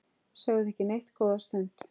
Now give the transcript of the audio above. Sögðu ekki neitt góða stund.